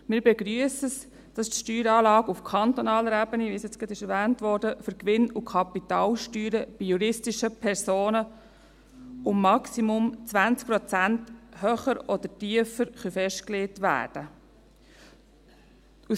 Wir begrüssen es, dass die Steueranlagen auf kantonaler Ebene, wie es gerade erwähnt wurde, für Gewinn- und Kapitalsteuern bei juristischen Personen um maximal 20 Prozent höher oder tiefer festgelegt werden können.